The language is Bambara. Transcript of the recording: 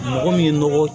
Mɔgɔ min ye nɔgɔ